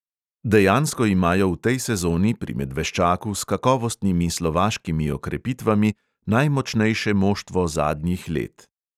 Dejansko imajo v tej sezoni pri medveščaku s kakovostnimi slovaškimi okrepitvami najmočnejše moštvo zadnjih let.